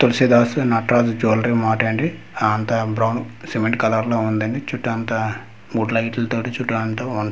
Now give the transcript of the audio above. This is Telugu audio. తులసీదాస్ నటరాజ్ జువాలరీ మార్ట్ అండి అంతా బ్రౌన్ సిమెంట్ కలర్ లో ఉందండి చుట్టు అంతా మూడి లైటుల తోటి చుట్టూ అంతా బావుంది.